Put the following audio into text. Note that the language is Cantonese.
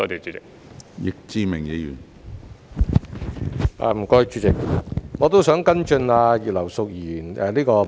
主席，我也想跟進葉劉淑儀議員的質詢。